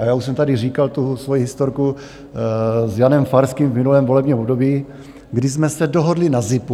A já už jsem tady říkal tu svoji historku s Janem Farským v minulém volebním období, kdy jsme se dohodli na zipu.